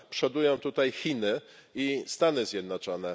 Przodują tutaj Chiny i Stany Zjednoczone.